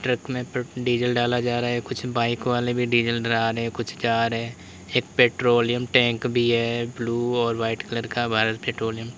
Truck में diesel डाला जा रहा है कुछ बाइक वाले भी डीजल डला रहे हैं कुछ जा रहे हैं एक पेट्रोलियम टैंक भी है ब्लू और वाइट कलर का भारत पैट्रोलियम ।